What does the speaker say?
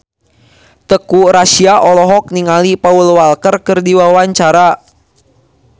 Teuku Rassya olohok ningali Paul Walker keur diwawancara